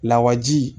Lawaji